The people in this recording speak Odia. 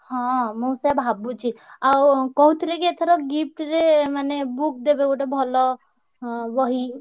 ହଁ ମୁଁ ସେୟା ଭାବୁଚି ଆଉ କହୁଥିଲେ କି ଏଥର gift ରେ ମାନେ book ଦେବେ ଗୋଟେ ଭଲ ହଁ ବହି।